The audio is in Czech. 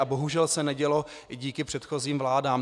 A bohužel se nedělo i díky předchozím vládám.